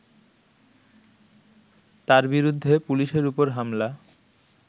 তার বিরুদ্ধে পুলিশের ওপর হামলা